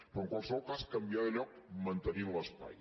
però en qualsevol cas canviar de lloc mantenint l’espai